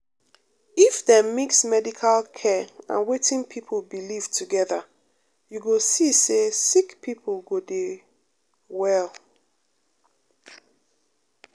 if dem mix medical care and wetin people believe together you go see say um sick people go dey well. um